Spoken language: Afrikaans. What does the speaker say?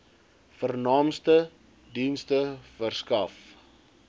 vernaamste dienste verskaf